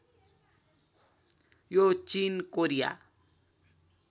यो चिन कोरिया